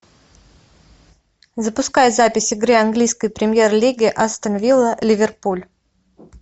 запускай запись игры английской премьер лиги астон вилла ливерпуль